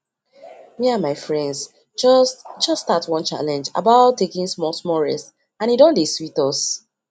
me and my friends just just start one challenge about taking smallsmall rest and e don dey sweet us